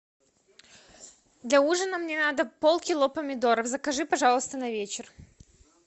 для ужина мне надо полкило помидоров закажи пожалуйста на вечер